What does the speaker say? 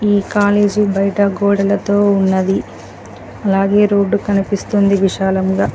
ఈ కాలేజీ బయట గోడలతో ఉన్నది అలాగే రోడ్డు కనిపిస్తుంది విశాలంగా.